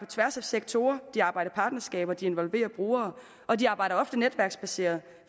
tværs af sektorer de arbejder i partnerskaber de involverer brugere og de arbejder ofte netværksbaseret